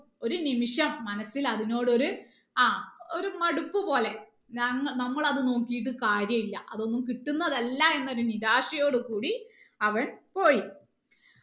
ഒരു നിമിഷം മനസ്സിൽ അതിനോട് ഒര് ആ ഒര് മടുപ്പ് പോലെ ഞങ്ങ നമ്മള് അത് നോക്കിയിട്ട് കാര്യയില്ല അതൊന്നും കിട്ടുന്നതല്ല എന്ന നിരാശയോട് കൂടി അവൻ പോയി